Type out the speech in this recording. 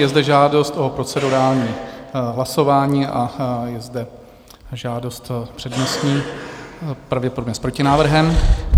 Je zde žádost o procedurální hlasování a je zde žádost přednostní, pravděpodobně s protinávrhem.